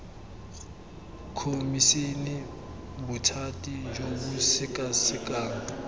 khomišene bothati jo bo sekasekang